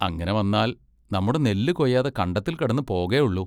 അങ്ങിനെ വന്നാൽ നമ്മുടെ നെല്ലു കൊയ്യാതെ കണ്ടത്തിൽ കിടന്നു പോകേ ഉള്ളൂ.